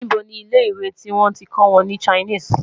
níbo ní ilẹ ìwé tí wọn tí kò wọn ní Chinese?